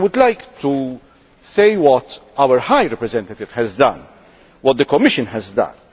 I would like to say what our High Representative has done, what the Commission has done.